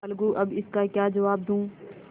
अलगूअब इसका क्या जवाब दूँ